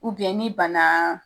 ni bana